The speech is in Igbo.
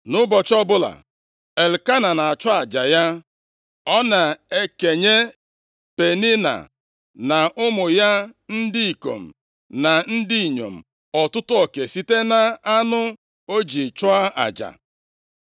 Nʼụbọchị ọbụla Elkena na-achụ aja ya, ọ na-ekenye Penina na ụmụ ya ndị ikom na ndị inyom ọtụtụ oke site nʼanụ o ji chụọ aja.